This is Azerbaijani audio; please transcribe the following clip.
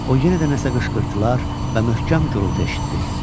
O yenə də nəsə qışqırtılar və möhkəm gurltu eşitdi.